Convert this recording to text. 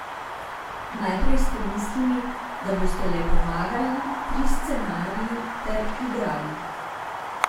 Najprej ste mislili, da boste le pomagali pri scenariju ter igrali.